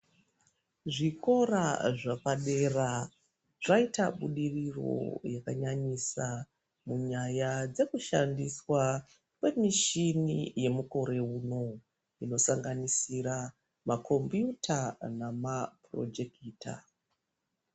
Zvikora zvepadera zvaita budiriro yakanyanyisa munyaya dzekushandiswa kwemishini yemukore uno inosanganisira makombiyuta nemapurojekita.